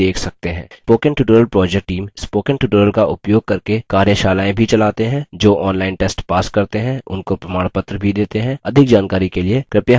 spoken tutorials project team spoken tutorials का उपयोग करके कार्यशालाएँ भी चलाते हैं जो online test pass करते हैं उनको प्रमाणपत्र भी details हैं अधिक जानकारी के लिए कृपया हमसे सम्पर्क करें